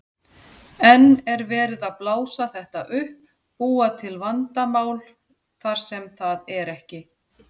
En er verið að blása þetta upp, búa til vandamál þar sem það er ekki?